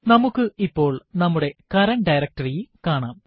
നമുക്ക് ഇപ്പോൾ നമ്മുടെ കറന്റ് ഡയറക്ടറി കാണാം